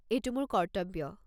এইটো মোৰ কৰ্তব্য।